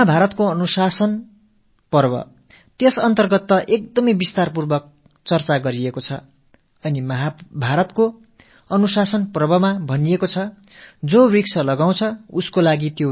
மகாபாரதத்தின் அனுசாசன பர்வம் மிக விரிவான முறையில் மரம் வைத்தவனுக்கு அந்த மரம் பெற்ற குழந்தை போன்றது இதில் எந்த சந்தேகமும் இல்லை என்று பறைசாற்றுகிறது